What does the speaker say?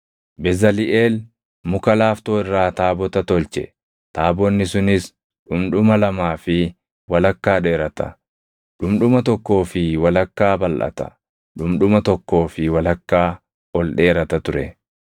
Bezaliʼeel muka laaftoo irraa taabota tolche; taabonni sunis dhundhuma lamaa fi walakkaa dheerata; dhundhuma tokkoo fi walakkaa balʼata; dhundhuma tokkoo fi walakkaa ol dheerata ture.